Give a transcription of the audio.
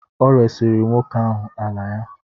Ọ resiri nwoke ahụ ala ya.